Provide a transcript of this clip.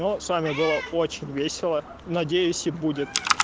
но с вами было очень весело надеюсь и будет